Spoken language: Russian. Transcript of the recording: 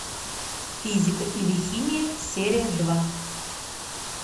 физика или химия серия два